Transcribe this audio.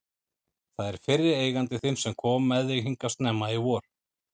Það er fyrri eigandi þinn sem kom með þig hingað snemma í vor.